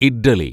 idli